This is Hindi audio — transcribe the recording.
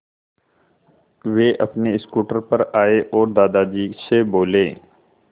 वे अपने स्कूटर पर आए और दादाजी से बोले